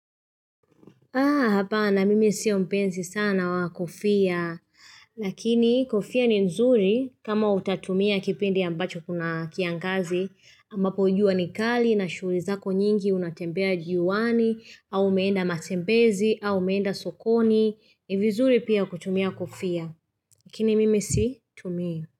Haa hapa na mimi sio mpenzi sana wa kofia. Lakini kofia ni nzuri kama utatumia kipindi ambacho kuna kiangazi. Ambapo jua ni kali na shughulizako nyingi unatembea jiuani, au umeenda matembezi, au umeenda sokoni. Ni vizuri pia kutumia kofia. Lakini mimi si tumia.